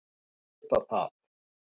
Þeir vita það.